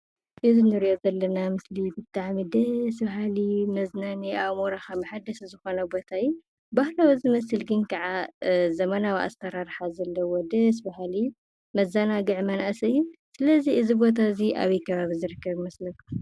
እዚ እንርእዮ ምስሊ ብጣዕሚ ደሰ ባሃሊ መዝናነይ ኣእምሮኻ መሐደሲ ዝኾነ ቦታ እዩ። ባህላዊ ዝመስል ግን ካኣ ዘመናዊ ኣሳራርሓ ዘለዎ ደስ ባሃሊ መዘናግዒ መናእሰይ እዮ። ስለዚ እዚ ቦታ እዚ ኣበይ ከባቢ ዝርከብ ይመስለኩም?